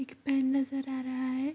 एक पेन नजर आ रहा है।